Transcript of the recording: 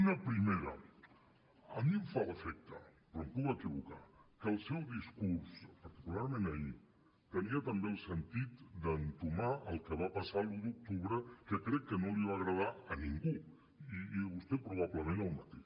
una primera a mi em fa l’efecte però em puc equivocar que el seu discurs particularment ahir tenia també el sentit d’entomar el que va passar l’un d’octubre que crec que no li va agradar a ningú i vostè probablement el mateix